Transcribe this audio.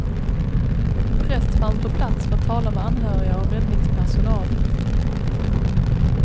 En präst fanns på plats för att tala med anhöriga och räddningspersonal.